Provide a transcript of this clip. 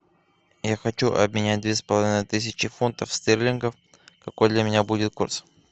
я хочу обменять две с половиной тысячи фунтов стерлингов какой для меня будет курс